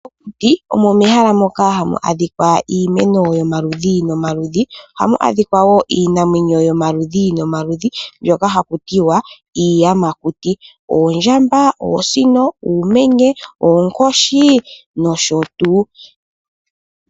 Mokuti omo mehala moka hamu adhika iimeno yomaludhi nomaludhi ,ohamu adhika wo iinamwenyo yomaludhi nomaludhi mbyoka haku tiwa iiyamakuti, oondjamba, oosino, uumenye, oonkoshi nosho tuu.